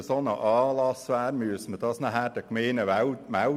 Man müsste also jedes Mal einen solchen Einsatz der Gemeinde melden.